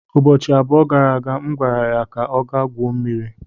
Ụbọchị abụọ gara aga, M gwara ya ka ọ gaa gwuo mmiri.